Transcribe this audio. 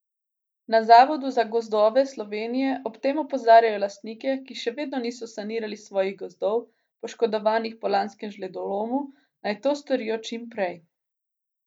Na Zavodu za gozdove Slovenije ob tem opozarjajo lastnike, ki še vedno niso sanirali svojih gozdov, poškodovanih po lanskem žledolomu, naj to storijo čim prej.